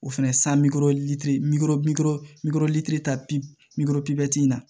O fɛnɛ san bikɔrɔli ta pipinikurɔ pibti na